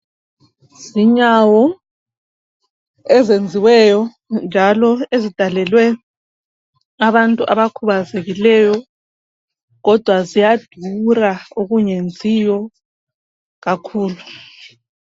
Zinyawo ezenziweyo njalo ezidalelwe abantu abakhubazekileyo kodwa ziyadura okungenziyo kakhulu.